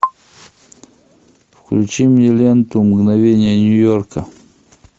включи мне ленту мгновения нью йорка